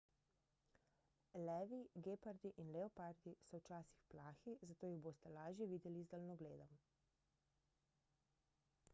levi gepardi in leopardi so včasih plahi zato jih boste lažje videli z daljnogledom